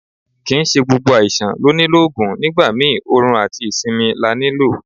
Kì ń ṣe gbogbo àìsàn ló nílò Ògùn, nígbà mi orun àti ìsinmi la ní lò.